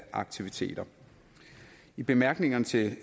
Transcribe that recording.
aktiviteter i bemærkningerne til